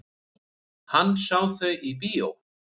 Hann sá þau í bíó.